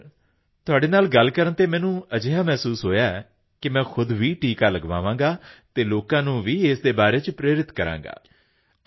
ਜੀ ਸਰ ਜੀ ਸਰ ਤੁਹਾਡੇ ਨਾਲ ਗੱਲ ਕਰਨ ਤੇ ਮੈਨੂੰ ਅਜਿਹਾ ਮਹਿਸੂਸ ਹੋਇਆ ਕਿ ਮੈਂ ਖੁਦ ਵੀ ਟੀਕਾ ਲਗਵਾਵਾਂਗਾ ਅਤੇ ਲੋਕਾਂ ਨੂੰ ਇਸ ਦੇ ਬਾਰੇ ਪ੍ਰੇਰਿਤ ਕਰਾਂਗਾ